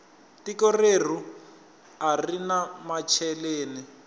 tiko reru arina macheleni